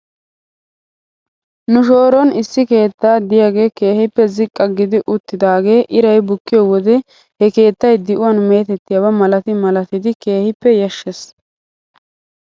Nu shooron issi keeta diyaagee keehippe ziqqa gidi uttidaagee iray bukkiyoo wode he keetay di'uwan meetettiyaa malati malatidi keehippe yashshes